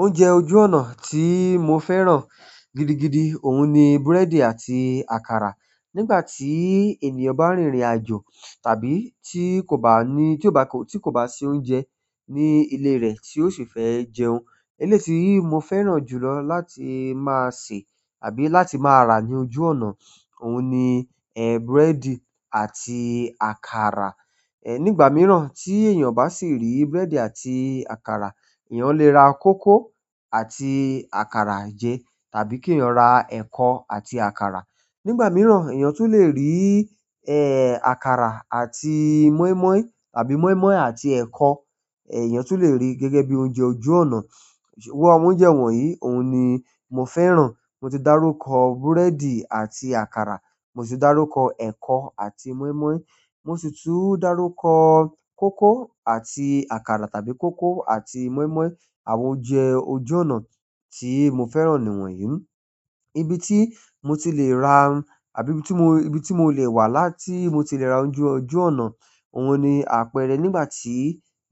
Oúnjẹ ojú ọ̀nà tí mo fẹ́ràn gidigidi, òun ni búrẹ́dì àti àkàrà. Nígbà tí ènìyàn bá rìn irìn àjò tàbí tí kò bá ní-- tí ó bá kò-- tí kò bá se oúnjẹ ní ilé rẹ̀ tí ó sì fẹ́ jẹun, eléyi tí mo fẹ́ràn jùlọ láti máa sè tàbí láti máa rà ní ojú ọ̀nà, òun ni, búrẹ́dì àti àkàrà. Nígbà mìíràn tí èèyàn bá sì rí búrẹ́dì àti àkàrà, èèyàn le ra kókò àti àkàrà jẹ tàbí kí èèyàn ra ẹ̀kọ àti àkàrà. Nígbà miran eeyan tún le ri àkàrà at moin moin àbí moin moin àti ẹkọ èèyàn tún le rí gẹ́gẹ́ bí oúnjẹ ojú ọ̀nà. Awọ́n oúnjẹ wọ̀nyí, òun ni mo fẹ́ràn. Mo ti dárúkọ búrẹ́dì àti àkàrà, mo sì darúkọ ẹ̀kọ àti mọ́ímọ́í, mo sì tún darúkọ kókò àti àkàrà tàbí kókò àti mọ́ímọ́í. Àwọn oúnjẹ ojú ọ̀nà tí mo fẹ́ràn ni wọ̀nyí. Ibi tí mo ti lè ra àbí ibi tí mó-- ibi tí mo lè wà láti mo ti lè ra ojú, ojú ọ̀nà, òun ni àpẹrẹ nígbà tí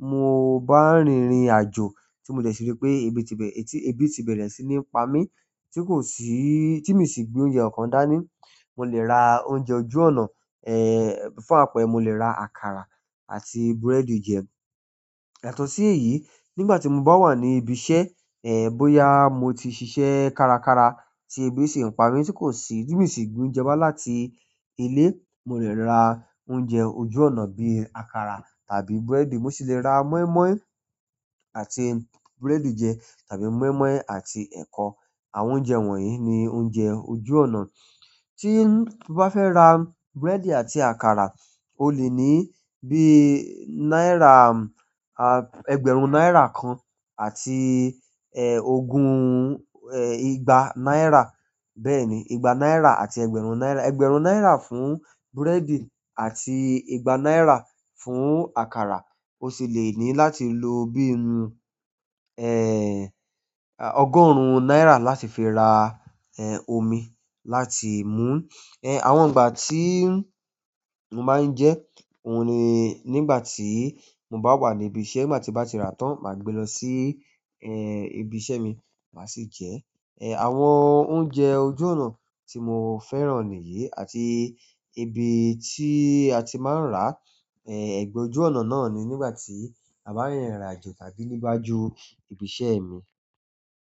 mo bá rìn ìrìnàjò tí mo dẹ̀ sì rí pé ebi ti bẹ̀rẹ̀ sí ní pa mí tí kò sí-- tí mi sì gbe oúnjẹ kankan dání, mo lè ra oúnjẹ ojú ọ̀nà, fún àpẹẹrẹ mo lè ra àkàrà àti búrẹ́dì jẹ. Yàtọ̀ si èyí, nígbà tí mo bá wà ní ibi iṣẹ́, bóyá mo ti ṣiṣẹ́ kárakára tí ebi si n pa mí tí kò sì-- tí mi sì gbe oúnjẹ wa láti ilé, mo lè ra oúnjẹ ojú ọ̀nà bíi àkàrà tàbí búrẹ́dì. Mo sì le ra mọ́ímọ́í àti búrẹ́dì jẹ tàbí mọ́ímọ́í àti ẹ̀kọ. Àwọn oúnjẹ wọ̀nyí ni oúnjẹ ojú ọ̀nà. Tí mo bá fẹ́ ra búrẹ́dì àti àkàrà, ó lè ní bí náírà, ẹgbẹ̀rún náírà kan àti ogún ìgbà náírà. Bẹ́ẹ̀ ni, ìgbà náírà àti ẹgbẹ̀rún náírà. Ẹgbẹ̀rún náírà fún búrẹ́dì àti ìgbà náírà fún àkàrà. Ó sì lè ní láti lo bíi, ọgọ́rùn-ún náírà láti fi ra, omi láti mú. Àwọn ìgbà tí mo máa ń jẹ́, òun ni nígbà tí mo bá wà ní ibi iṣẹ́. Nígbà tí n bá ti rà tán, màá gbe lọ sí, ibi iṣẹ́ mi, màá sì jẹ. Àwọn oúnjẹ ojú ọ̀nà tí mo fẹ́ràn nìyí àti ibi tí a ti máa ń rà, ẹgbẹ ojú ọ̀nà náà ni nígbà tí a bá rìn ìrìnàjò tàbí níwájú ibi iṣẹ́ mi.